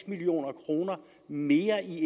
million kroner mere i